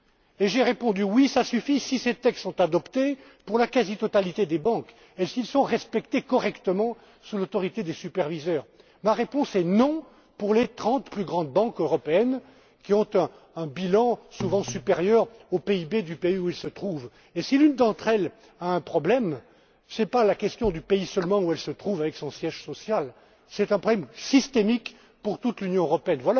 ça suffit?. Et j'ai répondu oui, ça suffit, si ces textes sont adoptés pour la quasi totalité des banques et s'ils sont respectés correctement sous l'autorité des superviseurs. Ma réponse est non pour les trente plus grandes banques européennes, qui ont un bilan souvent supérieur au PIB du pays où elles se trouvent. Et si l'une d'entre elles a un problème, ce n'est pas seulement la question du pays dans lequel se trouve son siège social, c'est un problème systémique pour toute l'Union